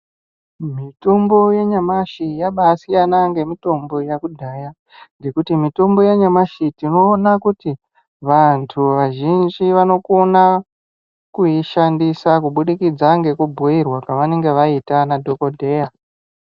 Mitombo yanyamashi yabaasiyana ngemitombo yakudhaya ngekuti mitombo yanyamashi tinoona kuti vanthu vazhinji vanokona kuishandisa kubudikidza nekubhuirwa kwavanenge vaita nadhogodheya.